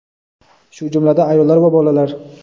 shu jumladan ayollar va bolalar.